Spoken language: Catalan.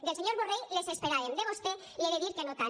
del senyor borrell les esperàvem de vostè li he de dir que no tant